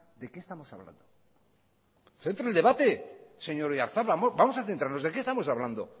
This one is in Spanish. de qué estamos hablando centre el debate señor oyarzabal vamos a centrarnos de qué estamos hablando